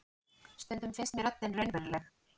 Stundum finnst mér röddin raunveruleg.